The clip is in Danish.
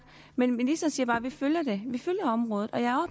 men ministeren siger bare vi følger det vi følger området og jeg